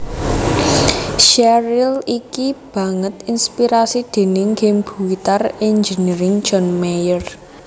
Sheryl iki banget inspirasi déning game Guitar Engineering John Mayer